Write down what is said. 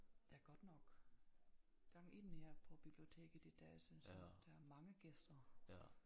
Der er godt nok gang i den her på biblioteket i dag synes jeg der er mange gæster